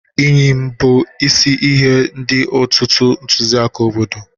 Eyịm bụ isi ihe dị n'ọtụtụ ntụziaka obodo.